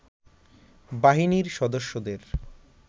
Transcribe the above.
বাহিনীর সদস্যদের